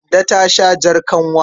Kande ta sha jar kanwa.